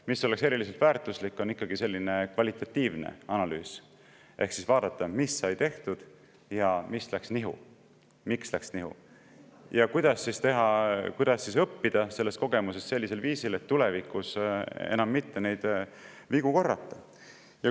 Mis oleks eriliselt väärtuslik, on ikkagi selline kvalitatiivne analüüs, ehk vaadata, mis sai tehtud, mis ja miks läks nihu ja kuidas siis õppida sellest kogemusest sellisel viisil, et tulevikus enam neid vigu mitte korrata.